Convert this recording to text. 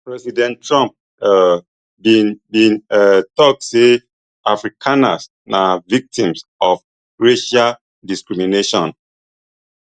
president trump um bin bin um tok say afrikaners na victims of racial discrimination